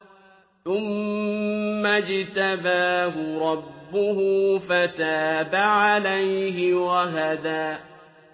ثُمَّ اجْتَبَاهُ رَبُّهُ فَتَابَ عَلَيْهِ وَهَدَىٰ